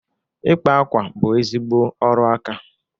Ịkpa akwa bụ ezigbo ọrụ aka.